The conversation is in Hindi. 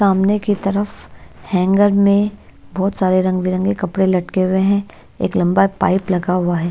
सामने की तरफ हैंगर में बहोत सारे रंग बिरंगे कपड़े लटके हुए हैं एक लंबा पाइप लगा हुआ है।